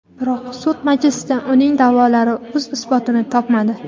Biroq sud majlisida uning da’volari o‘z isbotini topmadi.